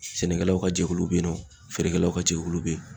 Sɛnɛkɛlaw ka jɛkulu be yen nɔ ,feerekɛlaw ka jɛkulu be yen.